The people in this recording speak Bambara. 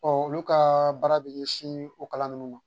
Ɔ olu ka baara bɛ ɲɛsin o kalan ninnu ma